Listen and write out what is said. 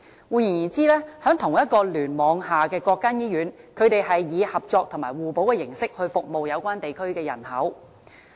"換言之，在同一個聯網下的各間醫院是以合作和互補的形式去服務有關地區的人口。